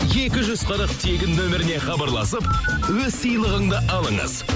екі жүз қырық тегін нөміріне хабарласып өз сыйлығыңды алыңыз